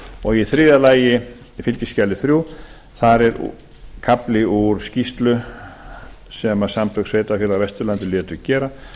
og í þriðja lagi í fylgiskjali þrjú þar er kafli um skýrslu sem samtök sveitarfélaga á vesturlandi létu gera